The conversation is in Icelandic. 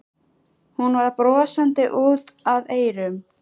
Hún var brosandi út að eyrum.